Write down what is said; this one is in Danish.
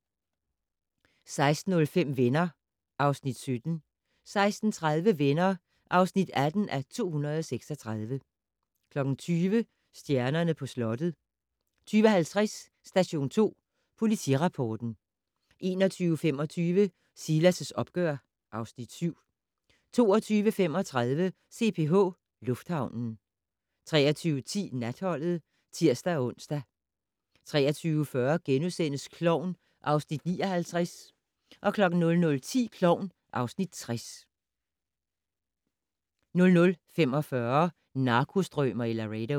16:05: Venner (Afs. 17) 16:30: Venner (18:236) 20:00: Stjernerne på slottet 20:50: Station 2 Politirapporten 21:25: Silas' opgør (Afs. 7) 22:35: CPH Lufthavnen 23:10: Natholdet (tir-ons) 23:40: Klovn (Afs. 59)* 00:10: Klovn (Afs. 60) 00:45: Narkostrømer i Laredo